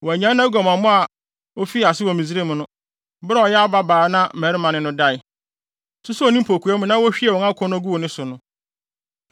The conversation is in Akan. Wannyae nʼaguamammɔ a ofii ase wɔ Misraim no, bere a ɔyɛ ababaa na mmarima ne no dae, susoo ne mpokua mu na wohwiee wɔn akɔnnɔ guu ne so no.